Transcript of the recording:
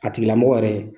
A tigila mɔgɔ yɛrɛ